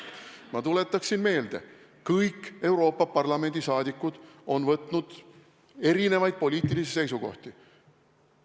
Ma tuletaksin meelde, kõik Euroopa Parlamendi liikmed on avaldanud erinevaid poliitilisi seisukohti.